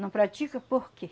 Não pratica por quê?